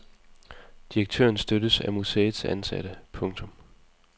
Direktøren støttes af museets ansatte. punktum